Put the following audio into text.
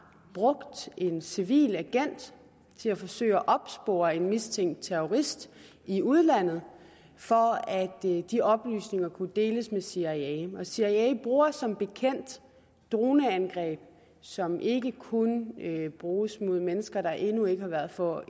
brugt en civil agent til at forsøge at opspore en mistænkt terrorist i udlandet for at de oplysninger kunne deles med cia cia bruger som bekendt droneangreb som ikke kun bruges mod mennesker der endnu ikke har været for